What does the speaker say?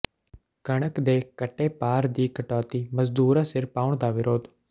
ਕਣਕ ਦੇ ਘਟੇ ਭਾਰ ਦੀ ਕਟੌਤੀ ਮਜ਼ਦੂਰਾਂ ਸਿਰ ਪਾਉਣ ਦਾ ਵਿਰੋਧ